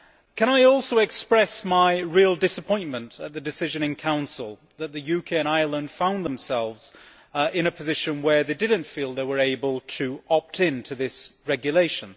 Can I also express my real disappointment at the decision in the Council whereby the UK and Ireland found themselves in a position where they did not feel they were able to opt into this regulation?